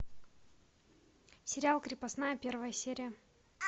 сериал крепостная первая серия